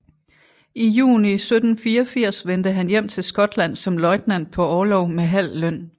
I juni 1784 vendte han hjem til Skotland som løjtnant på orlov med halv løn